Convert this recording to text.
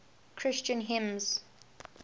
christian hymns